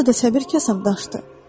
Burada səbir kasam daşdı.